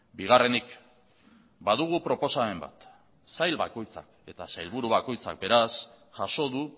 bigarrenik badugu proposamen bat sail bakoitzak eta sailburu bakoitzak beraz jaso du